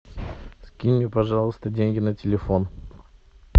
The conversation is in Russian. скинь мне пожалуйста деньги на телефон